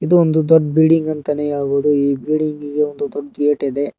ಇದು ಒಂದು ದೊಡ್ಡ ಬಿಲ್ಡಿಂಗ್ ಅಂತಾನೆ ಹೇಳ್ಬೋದು ಈ ಬಿಲ್ಡಿಂಗ್ ಗೆ ದೊಡ್ಡ ಗೇಟ್ ಇದೆ.